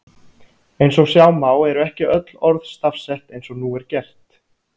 Eins og sjá má eru ekki öll orð stafsett eins og nú er gert.